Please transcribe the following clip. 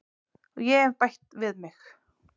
Og ég hef bætt við mig.